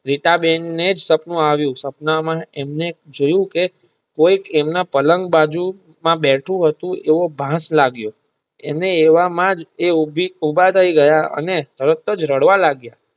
રીટા બેન ને સપનું આવ્યુ સપના માં એમને જોયું કેકોઈ તેમના પાલનગ બાજુ માં બેઠું હતું તેવો ભાષ લાગીયો અને એવામાંજ એ ઉભા થાય ગયા અને તરતજ રડવા લાગીયા.